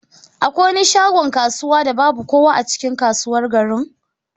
Akwai wani shagon kasuwa da babu kowa a cikin kasuwar garin?